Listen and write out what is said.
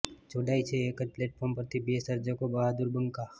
જોડાય છે એક જ પ્લેટફોર્મ પરથી બે સજૅકો બહાદુર બંકા